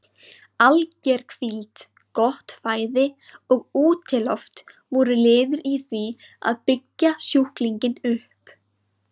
Alger hvíld, gott fæði og útiloft voru liðir í því að byggja sjúklinginn upp.